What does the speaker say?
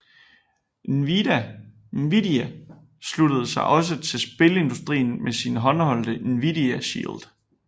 Nvidia sluttede sig også til spilindustrien med sin håndholdte Nvidia Shield